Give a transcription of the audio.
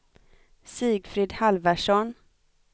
Sigfrid Halvarsson